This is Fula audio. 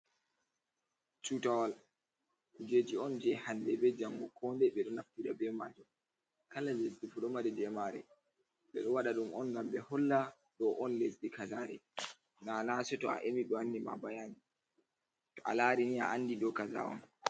Tutowl kujeji on je hande be jango ko ndai bedo naftira be majum kala lesdifu do mari jemare, bedowada dum on gam be holla do on lesdi kazare nanaseto a emi be wanni ma bayani ba to a lari ni a andi dokaza on.